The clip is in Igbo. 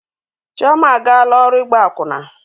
Chioma agaala ọrụ ịgba akwụna.